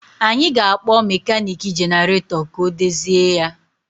Anyị ga-akpọ mekaniki jenaratọ ka o dozie ya